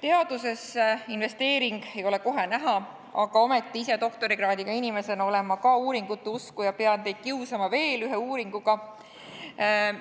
Teadusesse investeering ei ole kohe näha, aga ometi ise doktorikraadiga inimesena olen ma ka uuringute usku ja pean teid kiusama veel ühe uuringuga,